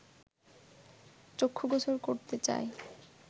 চক্ষুগোচর করতে চাই